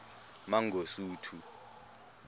mangosuthu